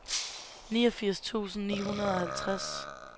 niogfirs tusind ni hundrede og halvtreds